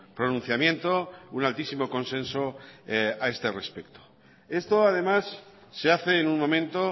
pronunciamiento un altísimo consenso a este respecto esto además se hace en un momento